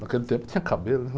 Naquele tempo tinha cabelo, né?